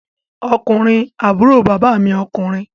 Ọkùnrin àbúrò bàbá mi ọkùnrin